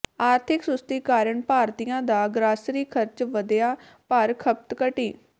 ਆਰਥਿਕ ਸੁਸਤੀ ਕਾਰਣ ਭਾਰਤੀਆਂ ਦਾ ਗ੍ਰਾਸਰੀ ਖਰਚ ਵਧਿਆ ਪਰ ਖਪਤ ਘਟੀ